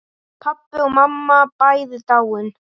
Pabbi og mamma bæði dáin.